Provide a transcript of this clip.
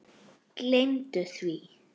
Gleymdu því!